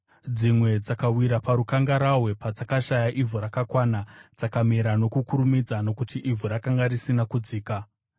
Dzimwe dzakawira parukangarahwe, padzakashaya ivhu rakakwana. Dzakamera nokukurumidza nokuti ivhu rakanga risina kudzika.